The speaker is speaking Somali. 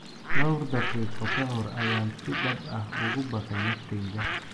Dhowr daqiiqo ka hor ayaan si dhab ah ugu baqay naftayda.